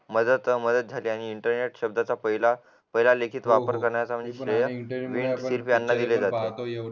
त्यात माझ्यात आणि इंटरनेट शब्दाचा पहिला लिखित वापर करण्याचा म्हणजे श्रेय विंड स्लीप त्यांना दिलेला